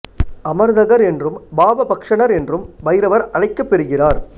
அமர்தகர் என்றும் பாப பக்ஷணர் என்றும் பைரவர் அழைக்கப் பெருகிறார்